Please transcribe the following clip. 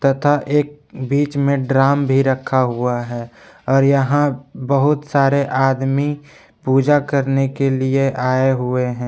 तथा एक बीच में ड्राम भी रखा हुआ है और यहां बहुत सारे आदमी पूजा करने के लिए आए हुए हैं।